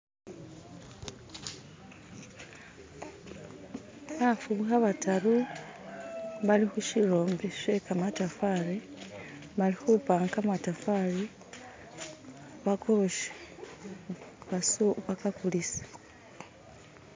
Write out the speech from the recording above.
bafubuha bataru bali hushirombe shekamatafali balihupanga kamatafali bakoshe bakakulise